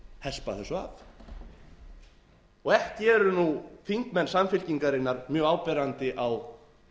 hespa þessu af ekki eru nú þingmenn samfylkingarinnar mjög áberandi á